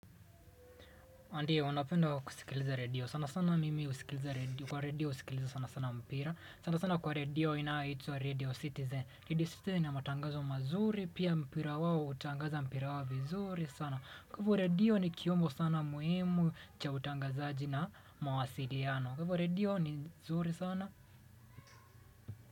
Ndio, napenda kusikiliza redio. Sana sana mimi husikiliza redio. Kwa redio husikiliza sana sana mpira. Sana sana kwa redio inayoitwa radio Citizen. Radio Citizen ina matangazo mazuri. Pia mpira wao hutangaza mpira wao vizuri sana. Kwa hivo radio ni kyombo sana muhimu cha utangazaji na mawasiliano. Kwa radio ni zuri sana.